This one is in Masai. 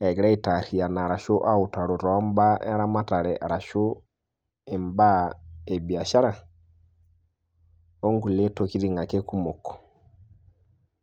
egira aitariyana arashu autaro te imbaa eramatare arashu embaa ebishara onkule tokitin ake kumok.